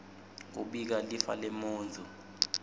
kubika lifa lemuntfu